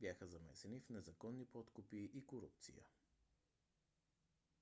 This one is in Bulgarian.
бяха замесени в незаконни подкупи и корупция